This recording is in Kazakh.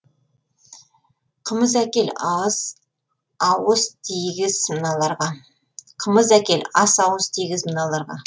қымыз әкел ас ауыз тигіз мыналарға